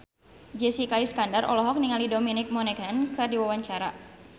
Jessica Iskandar olohok ningali Dominic Monaghan keur diwawancara